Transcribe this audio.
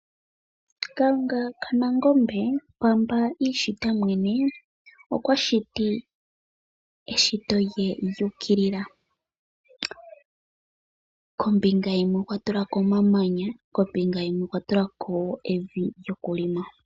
Kalunga kaNangombe pamba iishita yemwene, okwa shiti eshito lye lyuukilila, kombinga yimwe okwa tulako omamanya kombinga yimwe okwa tulako evi lyokulima.